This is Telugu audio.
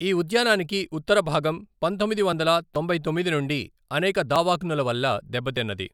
ఈ ఉద్యానానికి ఉత్తర భాగం పంతొమ్మిది వందల తొంభై తొమ్మిది నుండి అనేక దావాగ్నుల వల్ల దెబ్బతిన్నది.